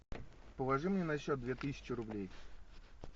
положи мне на счет две тысячи рублей